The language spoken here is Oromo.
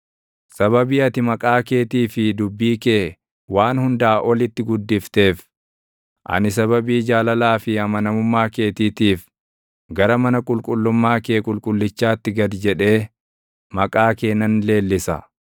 Sababii ati maqaa keetii fi dubbii kee waan hundaa olitti guddifteef, ani sababii jaalalaa fi amanamummaa keetiitiif gara mana qulqullummaa kee qulqullichaatti gad jedhee, maqaa kee nan leellisa.